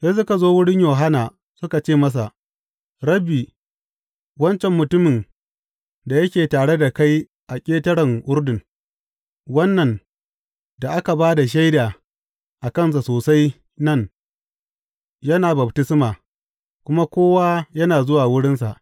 Sai suka zo wurin Yohanna suka ce masa, Rabbi, wancan mutumin da yake tare da kai a ƙetaren Urdun, wannan da ka ba da shaida a kansa sosai nan, yana baftisma, kuma kowa yana zuwa wurinsa.